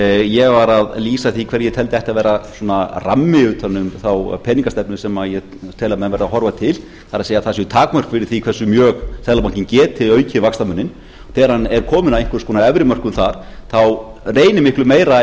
ég var að lýsa því hvernig ætti að vera svona rammi utan um þá peningastefnu sem ég tel að menn verði að horfa til það er það séu takmörk fyrir því hversu mjög seðlabankinn geti aukið vaxtamuninn þegar hann er kominn að einhvers konar efri mörkum þar þá reynir miklu meira